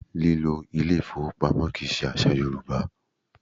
Lílo ilé ìfowópamọ́ kì í ṣe àṣà Yorùbá